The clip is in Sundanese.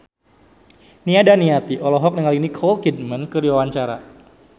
Nia Daniati olohok ningali Nicole Kidman keur diwawancara